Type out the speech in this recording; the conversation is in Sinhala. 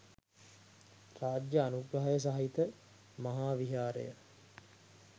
රාජ්‍ය අනුග්‍රහය සහිත මහා විහාරය